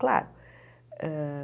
Claro. hã